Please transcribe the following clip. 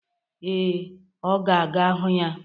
Ee, ọ ga-aga hụ ya.